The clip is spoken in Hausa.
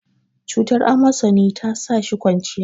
cutar amosani ta sa shi kwanciya